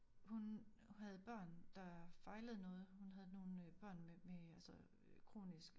Hun havde børn der fejlede noget hun havde nogle øh børn med med øh altså kronisk